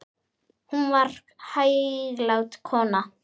Hún var hæglát kona.